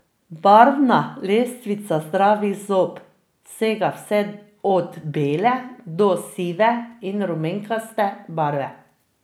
Barvna lestvica zdravih zob sega vse od bele do sive in rumenkaste barve.